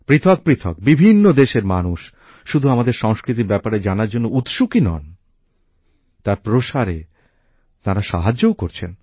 পৃথক পৃথক বিভিন্ন দেশের মানুষ শুধু আমাদের সংস্কৃতির ব্যাপারে জানার জন্য উৎসুকই নন তার প্রসারে তাঁরা সাহায্যও করছেন